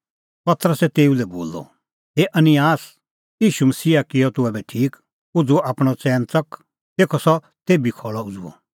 पतरसै तेऊ लै बोलअ हे अनिआस ईशू मसीहा किअ तूह ऐबै ठीक उझ़ू आपणअ च़ैन च़क तेखअ सह तेभी खल़अ उझ़ुअ